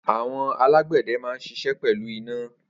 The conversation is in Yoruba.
Awọn àlágbẹdẹ mà n ṣiṣẹ pẹlú iná